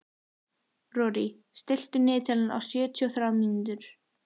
Rorí, stilltu niðurteljara á sjötíu og þrjár mínútur.